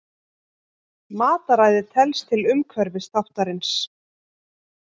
Mataræði telst til umhverfisþáttarins.